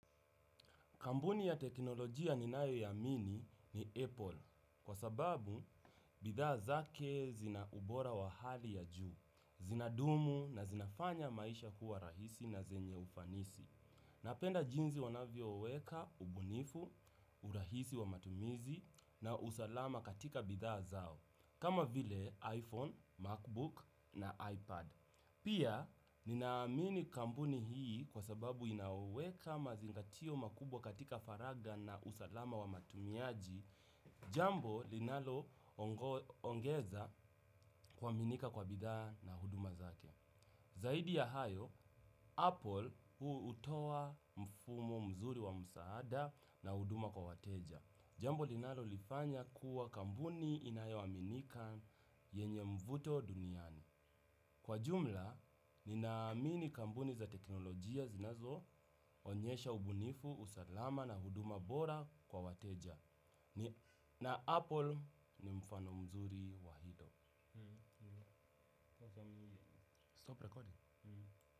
Kampuni ya teknolojia ninayoiamini ni Apple kwa sababu bidhaa zake zina ubora wa hali ya juu, zinadumu na zinafanya maisha kuwa rahisi na zenye ufanisi. Napenda jinsi wanavyo weka, ubunifu, urahisi wa matumizi na usalama katika bidhaa zao kama vile iPhone, MacBook na iPad. Pia ninaamini kampuni hii kwa sababu inaweka mazingatio makubwa katika faraga na usalama wa matumiaji. Jambo linalo ongeza kuaminika kwa bidhaa na huduma zake. Zaidi ya hayo, Apple hutoa mfumo mzuri wa msaada na huduma kwa wateja. Jambo linalo lifanya kuwa kampuni inayaoaminika yenye mvuto duniani. Kwa jumla, ni naamini kampuni za teknolojia zinazo onyesha ubunifu, usalama na huduma bora kwa wateja. Na Apple ni mfano mzuri wa hilo.